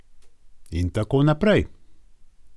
In tako naprej.